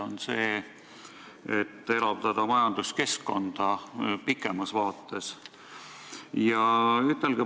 Või see, et elavdada majanduskeskkonda kaugemas vaates?